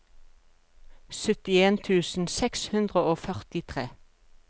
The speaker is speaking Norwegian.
syttien tusen seks hundre og førtitre